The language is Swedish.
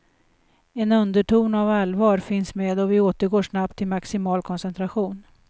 En underton av allvar finns med och vi återgår snabbt till maximal koncentration.